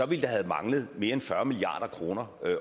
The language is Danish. ville der have manglet mere end fyrre milliard kroner